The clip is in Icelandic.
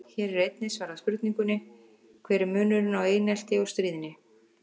Hér er einnig svarað spurningunni: Hver er munurinn á einelti og stríðni?